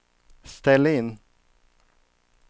ställ in